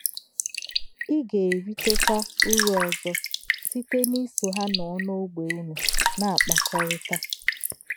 Í gā-èrítè̄kwá̄ ùrù̄ òzò̄ sịté̄ n’ìsò̄ Hà̄ nọ̄ n’ò̄gbè̄ únù̄ nā-ákpákọ́rí̄tá̄.